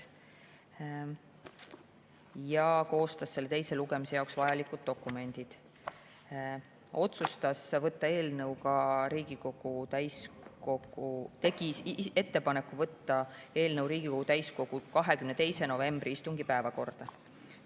Koostati teise lugemise jaoks vajalikud dokumendid ja tehti ettepanek võtta eelnõu Riigikogu täiskogu 22. novembri istungi päevakorda.